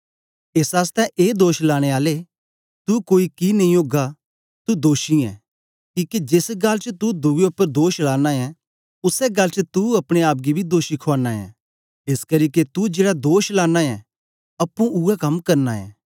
एस आसतै ए दोष लाने आले तू कोई कि नेई ओगा तू दोषी ऐं किके जेस गल्ल च तू दुए उपर दोष लाना ऐं उसै गल्ल च तू अपने आप गी बी दोषी खुआना ऐं एसकरी के तू जेड़ा दोष लाना ऐं अप्पुं उवै कम करना ऐं